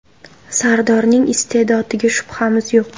Sardorning iste’dodiga shubhamiz yo‘q.